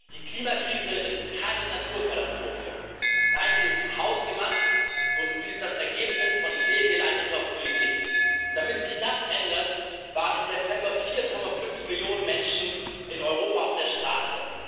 Die Klimakrise ist keine Naturkatastrophe, nein, sie ist hausgemacht, und sie ist das Ergebnis von fehlgeleiteter Politik. Damit sich das ändert, waren im September 4,5 Millionen Menschen in Europa auf der Straße.